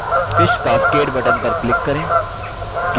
fish cascade button पर click करें